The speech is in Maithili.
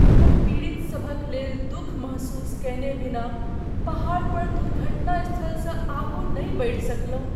हम पीड़ितसभक लेल दुख महसूस कयने बिना पहाड़ पर दुर्घटनास्थलसँ आगू नहि बढ़ि सकलहुँ।